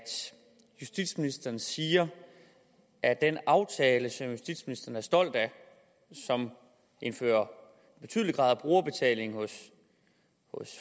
justitsministeren siger at den aftale som justitsministeren er stolt af og som indfører en betydelig grad af brugerbetaling hos